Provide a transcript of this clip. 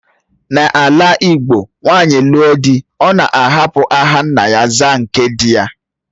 N'ala igbo nwanyị lụọ dị́, Ọ̀ na-ahapụ aha nna ya zaa nke dị ya.